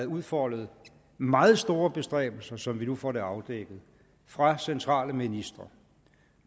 udfoldet meget store bestræbelser som vi nu får det afdækket fra centrale ministre